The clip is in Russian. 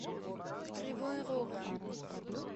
кривой рог